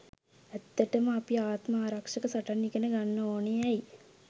ඇත්තටම අපි ආත්ම ආරක්ෂක සටන් ඉගෙන ගන්න ඕන ඇයි?